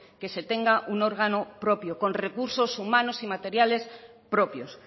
que se tenga un órgano propio con recursos humanos y materiales propios